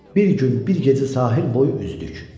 Bir gün bir gecə sahil boyu üzdük.